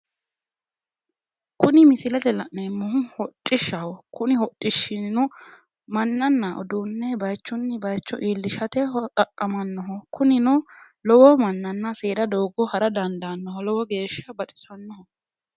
Kuni misilete aana la'neemmohu hodhishaho kuni hodhishino mannanna uduunne bayiichunni baayiicho iillishate xaqqamanno kunino lowo mannanna seeda doogo hara dandaannoho lowo geeshsha baxisannoho.